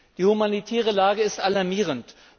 Die humanitäre Lage ist alarmierend.